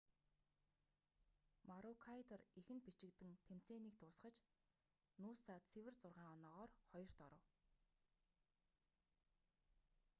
марүүкайдор эхэнд бичигдэн тэмцээнийг дуусгаж нүүса цэвэр зургаан оноогоор хоёрт оров